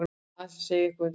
Að segja eitthvað undir rós